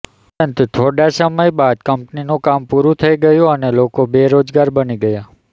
પરંતુ થોડા સમય બાદ કંપનીનું કામ પુરૂ થઈ ગયુ અને લોકો બેરોજગાર બની ગયા